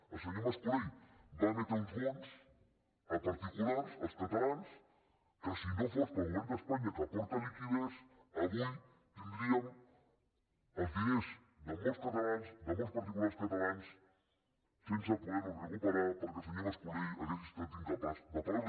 el senyor mas colell va emetre uns bons a particulars als catalans que si no fos pel govern d’espanya que aporta liquiditat avui tindríem els diners de molts catalans de molts particulars catalans sense poder los recuperar perquè el senyor mascolell hauria estat incapaç de pagar los